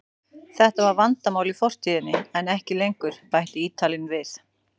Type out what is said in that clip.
Þetta var vandamál í fortíðinni en ekki lengur, bætti Ítalinn við.